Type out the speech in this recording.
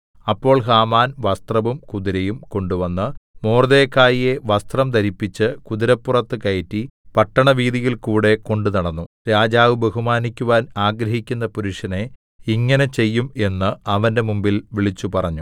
അപ്പോൾ ഹാമാൻ വസ്ത്രവും കുതിരയും കൊണ്ടുവന്ന് മൊർദെഖായിയെ വസ്ത്രം ധരിപ്പിച്ച് കുതിരപ്പുറത്ത് കയറ്റി പട്ടണവീഥിയിൽ കൂടെ കൊണ്ടുനടന്നു രാജാവ് ബഹുമാനിക്കുവാൻ ആഗ്രഹിക്കുന്ന പുരുഷനെ ഇങ്ങനെ ചെയ്യും എന്ന് അവന്റെ മുമ്പിൽ വിളിച്ചുപറഞ്ഞു